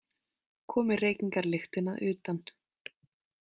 Komi reykingalyktin að utan.